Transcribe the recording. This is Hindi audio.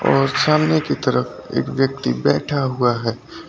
और सामने की तरफ एक व्यक्ति बैठा हुआ है।